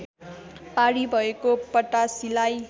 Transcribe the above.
पारी भएको पटासीलाई